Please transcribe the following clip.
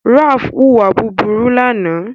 ralph huwa búburú lànà